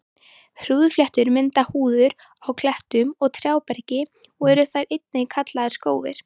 Hrúðurfléttur mynda hrúður á klettum og trjáberki og eru þær einnig kallaðar skófir.